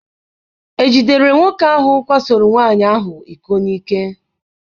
Ejidere nwoke ahụ kwasoro nwaanyị ahụ iko n'ike?